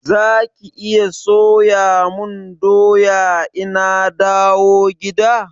Zaki iya soya mun doya ina dawo gida?